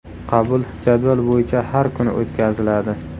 Qabul jadval bo‘yicha har kuni o‘tkaziladi.